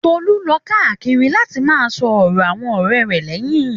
Tolu lọ káàkiri láti máà sọ̀rọ̀ àwọn ọ̀rẹ́ rẹ̀ lẹ́yìn.